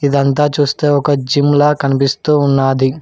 ఇదంతా చూస్తే ఒక జిమ్లా కనిపిస్తూ ఉన్నాది.